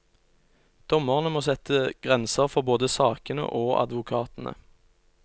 Dommerne må sette grenser for både sakene og advokatene.